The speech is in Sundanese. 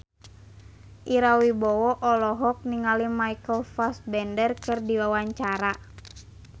Ira Wibowo olohok ningali Michael Fassbender keur diwawancara